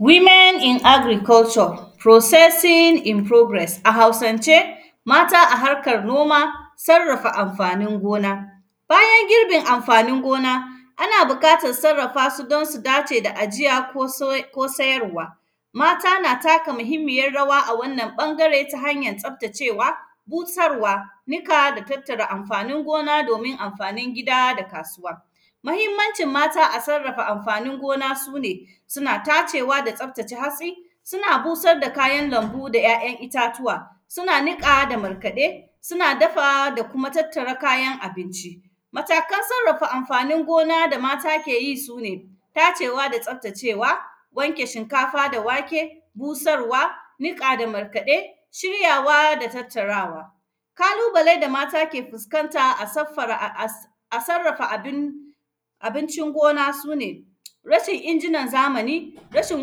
“Women in agriculture, processing in progress”, a Hausance, mata a harkar noma, sarrafa amfanin gona. Bayan girbin amfanin gona, ana biƙatas sarrafa su don su dace da ajiya ko soye; ko sayarwa. Mata na taka muhimmiyar rawa a wannan ƃangare ta hanyan tsaftacewa, busarwa, nika da tattara amfanin gona domin amfanin gida da kasuwa. Mahimmancin mata a sarrafa amfanin gona, su ne suna tacewa da tsaftace hatsi, suna busar da kayan lambu da ‘ya’yan itatuwa, suna niƙa da markaɗe, suna dafa da kuma tattara kayan kayan abinci. Matakan sarrafa amfanin gona da mata ke yi, su ne tacewa da tsaftacewa, wanke shinkafa da wake, busarwa, niƙa da markaɗe, shiryawa da tattarawa. Kalubale da mata ke fuskantaa saffara; a; as, a sarrafa abin, abincin gona, su ne rashin injinan zamani, rashin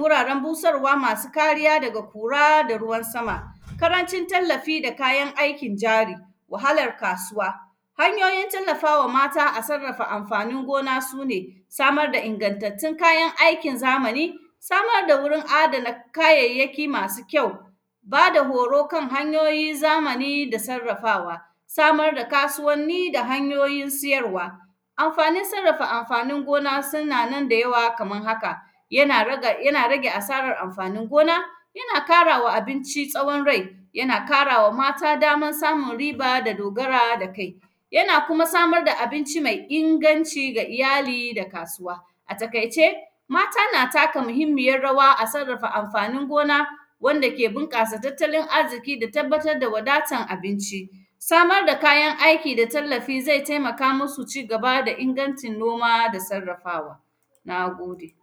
wuraren busarwa masu kariya daga kura da ruwan sama, karancin tallafi da kayan aikin jari, wahalar kasuwa. Hanyoyin tallafa wa mata a sarrafa amfanin gona, su ne samar da ingantattun kayan aikin zamani, samar da wurin adana kayayyaki masu kyau, ba da horo kan hanyoyi zamani da sarrafawa, samar da kasuwanni da hanyoyin siyarwa. Amfanin sarrafa amfanin gona sina nan da yawa kamar haka, yana raga, yana rage asarar amfanin gona, yana kara wa abinci sawon rai, yana kara wa mata daman samun riba da dogara da kai. Yana kuma samar da abinci mai inganci ga iyali da kasuwa. A takaice, mata na taka muhimmiyar rawa a sarrafa amfanin gona wanda ke binƙasa tattalin azziki da tabbatad da wadatan abinci. Samar da kayan aiki da tallafi, zai temaka musu ci gaba da ingancin noma da sarrafawa, na gode.